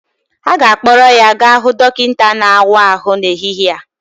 A ga-akpọrọ ya gaa hụ dọkịta na-awa ahụ n'ehihie a